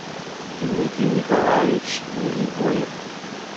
дмитрий николаевич мелибоев